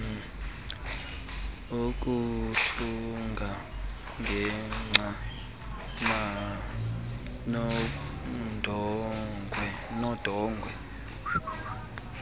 ukuthunga ngengca nodongwe